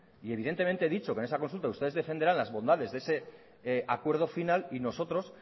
y evidentemente he dicho que en esa consulta ustedes defenderán las bondades de ese acuerdo final y nosotros